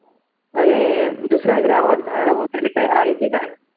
अं ए दुसऱ्यांचा आवाज होते आहे की काय